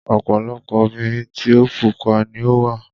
Ọ̀pọ̀lọpọ̀ obìnrin tí o pupa ni ó wà.